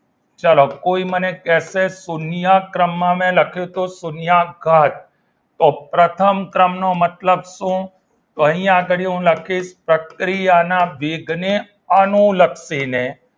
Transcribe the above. ચલો કોઈ મને કહેશે શૂન્ય ક્રમમાં મેં લખ્યું છે તો શૂન્ય અવકાશ તો પ્રથમ ક્રમનો મતલબ શું અહીં આગળ હું લખીશ કે પ્રક્રિયાના વેગને અનુલક્ષીને